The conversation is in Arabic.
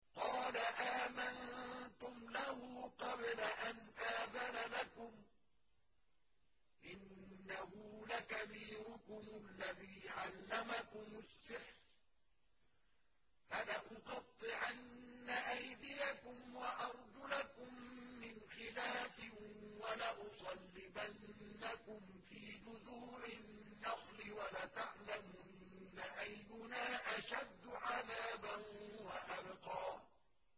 قَالَ آمَنتُمْ لَهُ قَبْلَ أَنْ آذَنَ لَكُمْ ۖ إِنَّهُ لَكَبِيرُكُمُ الَّذِي عَلَّمَكُمُ السِّحْرَ ۖ فَلَأُقَطِّعَنَّ أَيْدِيَكُمْ وَأَرْجُلَكُم مِّنْ خِلَافٍ وَلَأُصَلِّبَنَّكُمْ فِي جُذُوعِ النَّخْلِ وَلَتَعْلَمُنَّ أَيُّنَا أَشَدُّ عَذَابًا وَأَبْقَىٰ